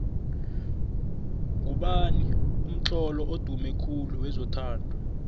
ngubani umtlolo odume khulu wezothando